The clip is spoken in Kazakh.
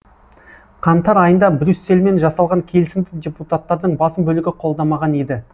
қаңтар айында брюссельмен жасалған келісімді депутаттардың басым бөлігі қолдамаған еді